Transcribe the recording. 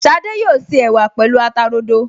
Ṣadé yóò se ẹ̀wà pẹ̀lú ata rodo